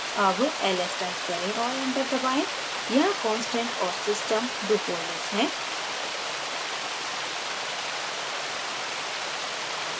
अब ls type करें और enter दबाएँ यहाँ constant और system दो folders हैं